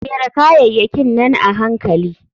Jera kayayakin nan a hankali.